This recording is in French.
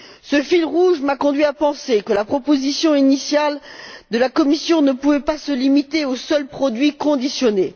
Ce fil rouge m'a conduite à penser que la proposition initiale de la Commission ne pouvait pas se limiter aux seuls produits conditionnés.